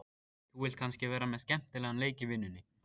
Þú vilt kannski vera með skemmtilegan leik í vinnunni?